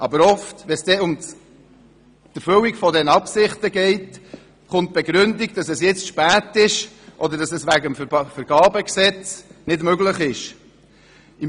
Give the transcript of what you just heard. Aber oft, wenn es um die Erfüllung dieser Absichten geht, kommt die Begründung, dass es jetzt zu spät oder wegen dem Vergabegesetz nicht möglich sei.